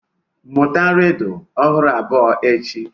Mụta rịdụ ọhụrụ abụọ n'echi.